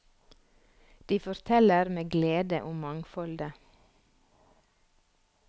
De forteller med glede om mangfoldet.